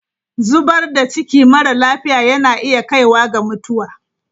Zubar da ciki mara lafiya yana iya kaiwa ga mutuwa.